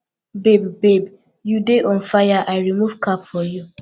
babe babe you dey on fire i remove cap for you